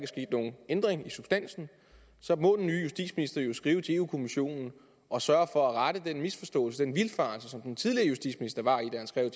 sket nogen ændring i substansen må den nye justitsminister jo skrive til i europa kommissionen og sørge for at rette den misforståelse den vildfarelse som den tidligere justitsminister var i da han skrev